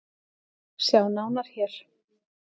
Sjá nánar hér.